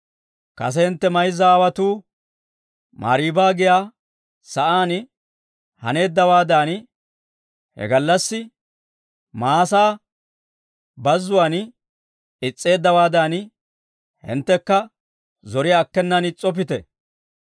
«Kase hintte mayzza aawotuu, Mariiba giyaa sa'aan haneeddawaadan, he gallassi Maasa Bazzuwaan is's'eeddawaadan, hinttekka zoriyaa akkenan is's'oppite.